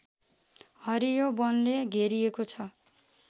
हरियो वनले घेरिएको छ